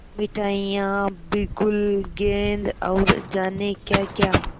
मिठाइयाँ बिगुल गेंद और जाने क्याक्या